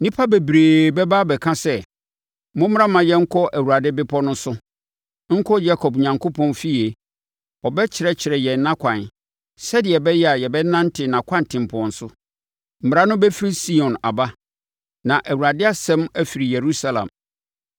Nnipa bebree bɛba abɛka sɛ, “Mommra mma yɛnkɔ Awurade bepɔ no so, nkɔ Yakob Onyankopɔn efie. Ɔbɛkyerɛkyerɛ yɛn nʼakwan sɛdeɛ ɛbɛyɛ a yɛbɛnante nʼakwantempɔn so.” Mmara no bɛfiri Sion aba na Awurade asɛm afiri Yerusalem.